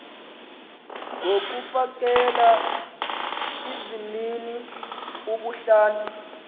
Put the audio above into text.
ngokufakela izimnini ubuhlanti